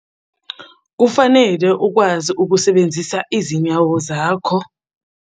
Kufanele ukwazi ukusebenzisa izinyawo zakho.